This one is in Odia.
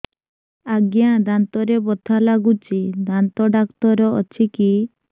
ଆଜ୍ଞା ଦାନ୍ତରେ ବଥା ଲାଗୁଚି ଦାନ୍ତ ଡାକ୍ତର ଅଛି କି